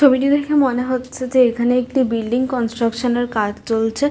ছবিটি দেখে মনে হচ্ছে যে এখানে একটি বিল্ডিং কনস্ট্রাকশন -এর কাজ চলছে।